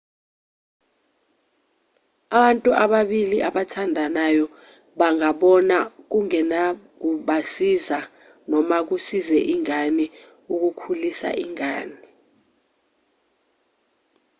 abantu ababili abathandanayo bangabona kungenakubasiza noma kusize ingane ukukhulisa ingane